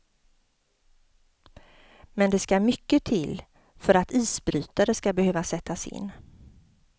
Men det skall mycket till för att isbrytare skall behöva sättas in.